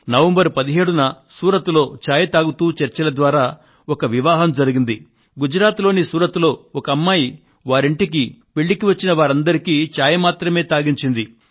November 17న సూరత్ లో ఒక అమ్మాయి వారింటికి పెళ్ళికి వచ్చిన వారందరికీ చాయ్ మాత్రమే తాగించింది